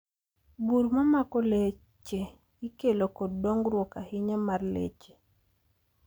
Bur mamako leche ikelo kod dongruok ahinya mar leche.